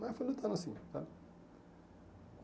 Mas foi lutando assim, sabe?